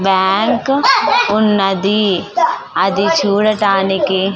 bank ఉన్నది అది చూడటానికి --